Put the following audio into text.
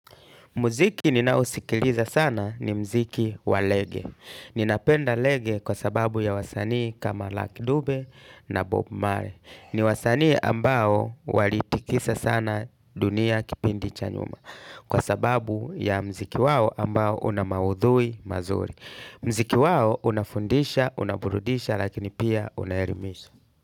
Muziki ninaosikiliza sana ni muziki wa reggae. Ninapenda reggae kwa sababu ya wasanii kama Lucky Dube na Bob Marley. Ni wasanii ambao walitikisa sana dunia kipindi cha nyuma. Kwa sababu ya muziki wao ambao una maudhui mazuri. Muziki wao unafundisha, unaburudisha lakini pia unaelimisha.